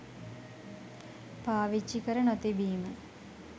පාවිච්චි කර නොතිබීම.